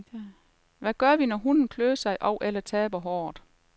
Hvad gør vi, når hunden klør sig og eller taber håret?